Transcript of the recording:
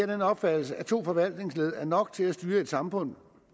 den opfattelse at to forvaltningsled er nok til at styre et samfund